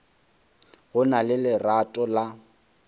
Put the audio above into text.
go na le lerato la